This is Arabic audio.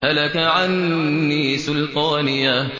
هَلَكَ عَنِّي سُلْطَانِيَهْ